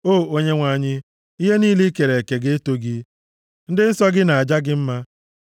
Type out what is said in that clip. O Onyenwe anyị, ihe niile i kere eke ga-eto gị; ndị nsọ gị na-aja gị mma.